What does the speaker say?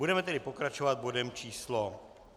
Budeme tedy pokračovat bodem číslo